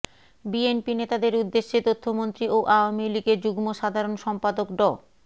BNP নেতাদের উদ্দেশে তথ্যমন্ত্রী ও আওয়ামী লীগের যুগ্ম সাধারণ সম্পাদক ড